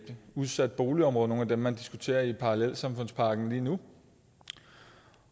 udsat boligområde et af dem man diskuterer i parallelsamfundspakken lige nu